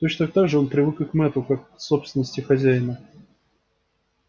точно так же он привык и к мэтту как к собственности хозяина